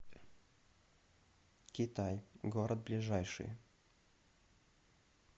китай город ближайший